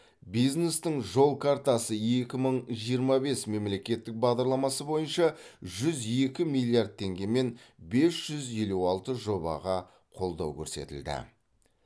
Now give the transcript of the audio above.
бизнестің жол картасы екі мың жиырма бес мемлекеттік бағдарламасы бойынша жүз екі миллиард теңгемен бес жүз елу алты жобаға қолдау көрсетілді